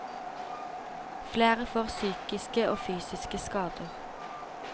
Flere får psykiske og fysiske skader.